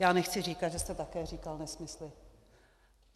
Já nechci říkat, že jste také říkal nesmysly.